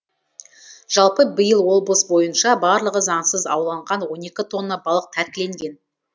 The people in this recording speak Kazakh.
жалпы биыл облыс бойынша барлығы заңсыз ауланған он екі тонна балық тәркіленген